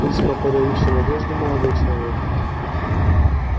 весьма подающий надежды молодой человек